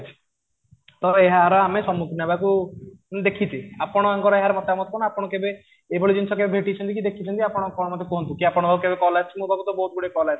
ତ ଏହାର ଆମକୁ ସମୁଖୀନ ହେବାକୁ ମୁଁ ଦେଖିଚି ଆପଣଙ୍କ ର ଏହାର ମତାମତ ନା ଆପଣ କେବେ ଏଭଳି ଜିନିଷ କେବେ ଭେଟିଛନ୍ତି କି ଦେଖିଛନ୍ତି ଆପଣ ମତେ କୁହନ୍ତୁ ଆପଣଙ୍କ ପାଖକୁ କେବେ କଲ ଆସିଛି ମୋ ପାଖକୁ ତ ବହୁତ ଗୁଡ଼େ କଲ ଆସିଛି